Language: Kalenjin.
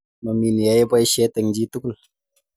Mami ni yae poishet eng' chi tugul